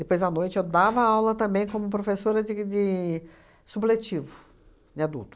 Depois, à noite, eu dava aula também como professora de de supletivo, de adulto.